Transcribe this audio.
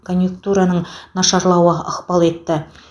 конъюнктураның нашарлауы ықпал етті